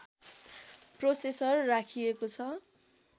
processor राखिएको छ